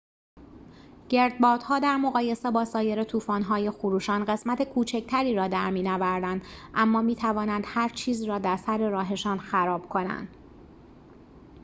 گردبادها در مقایسه با سایر طوفان‌های خروشان قسمت کوچکتری را در می‌نوردند اما می‌توانند هرچیزی را در سر راهشان خراب کنند